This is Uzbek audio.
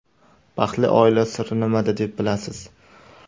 Baxtli oila siri nimada deb bilasiz?